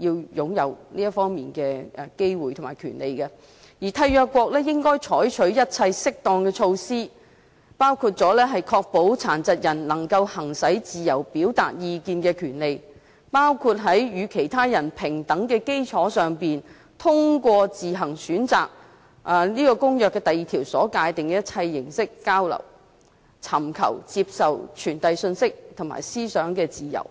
擁有這方面的機會及權利，而締約國應該採取一切適當的措施，確保殘疾人能夠行使自由表達意見的權利，包括在與其他人平等的基礎上，通過自行選擇《公約》第二條所界定的一切交流形式，享有尋求、接受、傳遞信息及思想的自由。